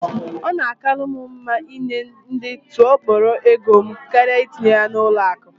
Ọ na akalu m mma ị nye ndị tụọ kpọrọ égo m karịa etinye ya na ụlọ akụ